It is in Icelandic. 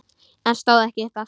En stóð ekki upp aftur.